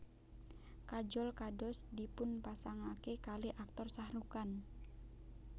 Kajol kados dipunpasangake kalih Aktor Shahrukh Khan